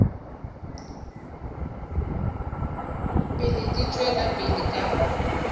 pele di tšwela pele ka